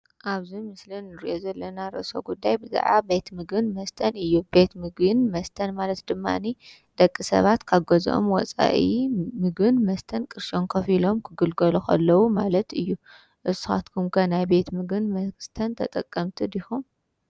ቤት ምግብ መስተን ማለት ሰባት ካብ ገዝኦም ወፃኢ ቅርሺ ከፊሎም ክግልገሉ ከለዉ ማለት እዪ ናይ ቤት ምግብን መስተን ተገልገልቲ ዲኩም